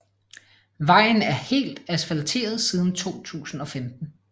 Vejen er helt asfalteret siden 2015